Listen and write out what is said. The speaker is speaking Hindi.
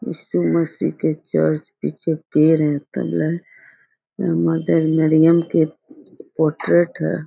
इसु मसीह के चर्च पीछे पेड़ है तल्ला है मदर मर्र्यम के पोर्ट्रेट हैं।